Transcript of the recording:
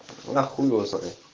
а хуй его знает